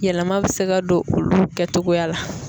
Yɛlɛma bɛ se ka don olu kɛcogoya la.